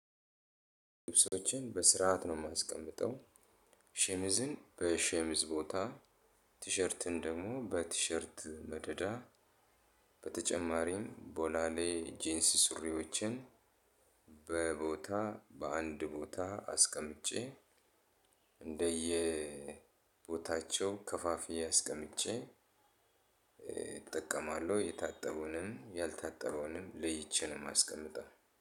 ልብሶችን በስርዓት ነው የማስቀምጠው። ሸሚዝን በሸሚዝ ቦታ ቲሸርትን ደግሞ በቲሸርት መደዳ። በተጨማሪም ቦላሌ ጂንስ ሱሪዎችን። በቦታ በአንድ ቦታ አስቀምጬ። እንደየ ቦታቸው ከፋፊዬ አስቀምጬ። እጠቀማለሁ የታጠበውንም ያልታጠበውንም ለይቼ ነው ማስቀምጠው።